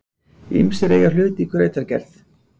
Ýmsir eiga hlut í grautargerð.